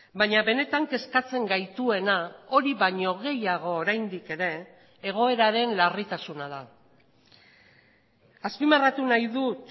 baina benetan kezkatzen gaituena hori baino gehiago oraindik ere egoeraren larritasuna da azpimarratu nahi dut